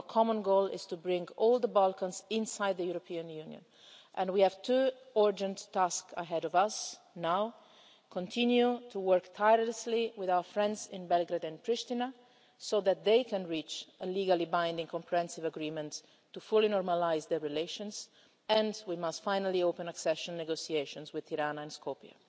Our common goal is to bring all the Balkans inside the European Union, and we have two urgent tasks ahead of us now to continue to work tirelessly with our friends in Belgrade and Pristina so that they can reach a legally binding comprehensive agreement to fully normalise their relations, and finally to open accession negotiations with Tirana and Skopje.